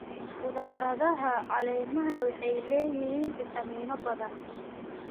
Khudradaha caleemaha waxay leeyihiin fiitamiinno badan.